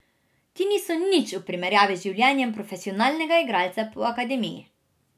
Ti niso nič v primerjavi z življenjem profesionalnega igralca po akademiji.